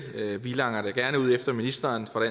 vi langer da gerne ud efter ministeren fra